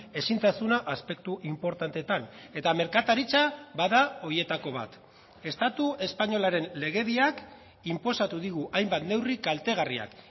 ezintasuna aspektu inportanteetan eta merkataritza bada horietako bat estatu espainolaren legediak inposatu digu hainbat neurri kaltegarriak